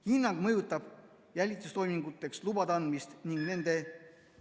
Hinnang mõjutab jälitustoiminguteks lubade andmist ning nende ...